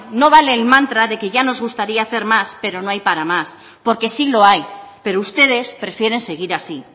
no vale el mantra de que ya nos gustaría hacer más pero no hay para más porque sí lo hay pero ustedes prefieren seguir así